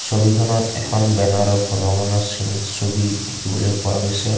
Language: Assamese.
ছবিখনত এখন বেনাৰৰ ভগবানৰ চিন ছবি দেখিবলৈ পোৱা গৈছে।